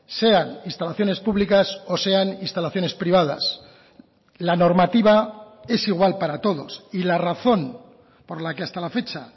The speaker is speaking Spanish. sean instalaciones públicas o sean instalaciones privadas la normativa es igual para todos y la razón por la que hasta la fecha